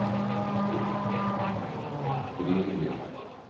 Grillby